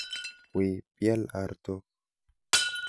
Wiy bial artok.